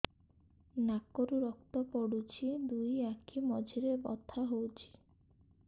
ନାକରୁ ରକ୍ତ ପଡୁଛି ଦୁଇ ଆଖି ମଝିରେ ବଥା ହଉଚି